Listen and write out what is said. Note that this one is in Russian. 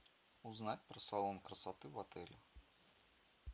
узнать про салон красоты в отеле